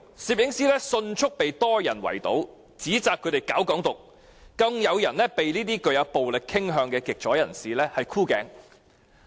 攝影師迅速被多人圍堵，指摘他們搞"港獨"，更有人被這些具暴力傾向的極左人士"箍頸"。